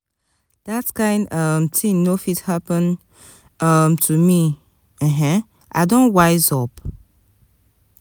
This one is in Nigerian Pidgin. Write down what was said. dat kain um tin no fit happen um to me ahain i don wise up.